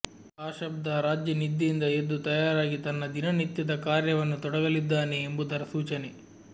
ಆ ಶಬ್ಧ ರಾಜ್ಯ ನಿದ್ದೆಯಿಂದ ಎದ್ದು ತಯಾರಾಗಿ ತನ್ನ ದಿನನಿತ್ಯದ ಕಾರ್ಯವನ್ನು ತೊಡಗಲಿದ್ದಾನೆ ಎಂಬುದರ ಸೂಚನೆ